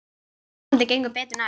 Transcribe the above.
En vonandi gengur betur næst.